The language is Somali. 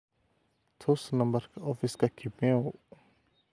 tus nambarka ofiska kimeu